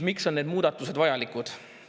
Miks on need muudatused vajalikud?